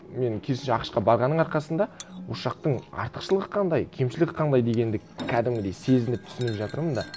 мен керісінше ақш қа барғанның арқасында осы жақтың артықшылығы қандай кемшілігі қандай дегенді кәдімгідей сезініп түсініп жатырмын мында